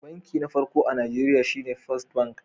Banki na farko a najeriya shine First bank